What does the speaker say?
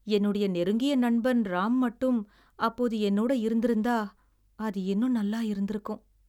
என்னுடைய நெருங்கிய நண்பன் ராம் மட்டும் அப்போது என்னோட இருந்திருந்தா, அது இன்னும் நல்லா இருந்திருக்கும்.